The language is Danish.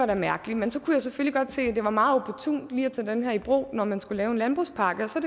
var mærkeligt men så kunne jeg selvfølgelig godt se at det var meget opportunt lige at tage den her i brug når man skulle lave en landbrugspakke og så